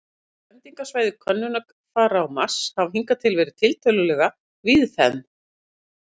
Fyrirhuguð lendingarsvæði könnunarfara á Mars hafa hingað til verið tiltölulega víðfeðm.